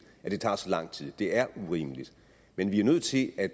at det tager så lang tid det er urimeligt men vi er nødt til at